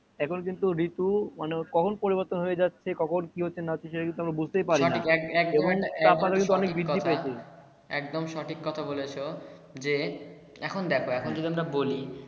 এখন কিন্তু ঋতু মানে কখন পরিবর্তন হয়ে যাচ্ছে কখন কি হচ্ছে না হচ্ছে সেটা কিন্তু আমরা বোঝতেই পারিনা এবং তাপমাত্রা কিন্তু অনেক বৃদ্ধি পাইছে, সঠিক একদম সঠিক কথা বলেছো যে এখন দেখো এখন যদি আমরা বলি